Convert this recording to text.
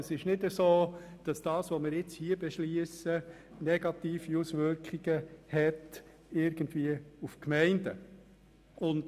Es trifft also nicht zu, dass das, was wir nun hier beschliessen, negative Auswirkungen auf die Gemeinden hat.